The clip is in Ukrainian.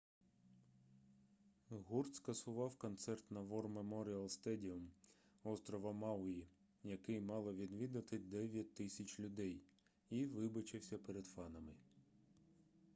гурт скасував концерт на вор меморіал стедіум острова мауї який мало відвідати 9000 людей і вибачився перед фанами